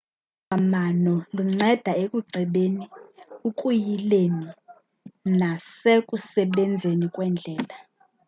olu lwalamano lunceda ukucebeni ukuyileni nasekusebenzeni kweendlela